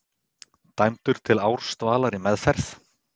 Dæmdur til ársdvalar í meðferð